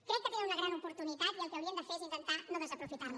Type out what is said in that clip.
crec que tenen una gran oportunitat i el que haurien de fer és intentar és no desaprofitar la